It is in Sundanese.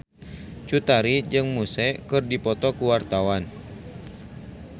Cut Tari jeung Muse keur dipoto ku wartawan